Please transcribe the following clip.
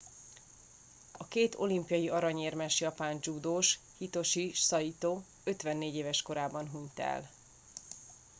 a két olimpiai aranyérmes japán dzsúdós hitoshi saito 54 éves korában hunyt el